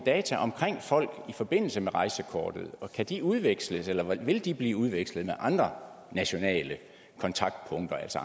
data om folk i forbindelse med rejsekortet og kan de udveksles eller vil de blive udvekslet med andre nationale kontaktpunkter altså